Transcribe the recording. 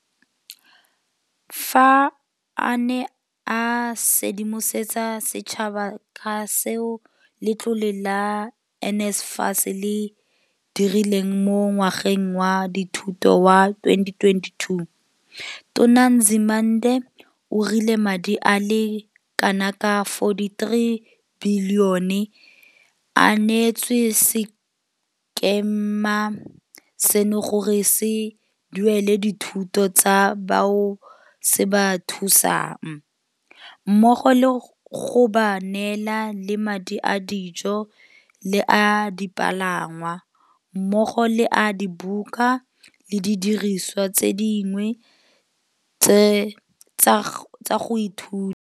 Fa a ne a sedimosetsa setšhaba ka seo letlole la NSFAS le se dirileng mo ngwageng wa dithuto wa 2022, Tona Nzimande o rile madi a le kanaka R43 bilione a neetswe sekema seno gore se duelele dithuto tsa bao se ba thusang, mmogo le go ba neela le madi a dijo le a dipalangwa, mmogo le a dibuka le didirisiwa tse dingwe tsa go ithuta.